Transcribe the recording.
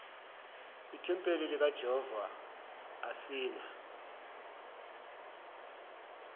ithempeli likajehova asina